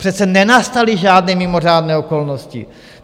Přece nenastaly žádné mimořádné okolnosti.